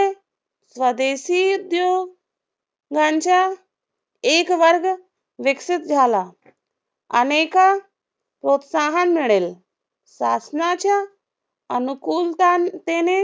स्वदेशी उद्योग गांच्या एकवर्ग विकसित झाला. अनेका प्रोत्साहन मिळेल. शासनाच्या अनुकूलता तेने